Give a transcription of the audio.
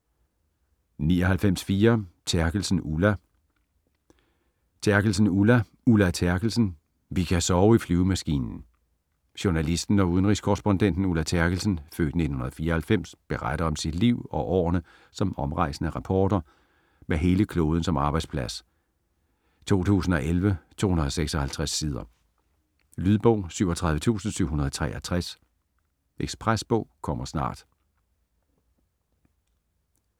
99.4 Terkelsen, Ulla Terkelsen, Ulla: Ulla Terkelsen - vi kan sove i flyvemaskinen Journalisten og udenrigskorrespondenten Ulla Terkelsen (f. 1944) beretter om sit liv og årene som omrejsende reporter med hele kloden som arbejdsplads. 2011, 256 sider. Lydbog 37763 Ekspresbog - kommer snart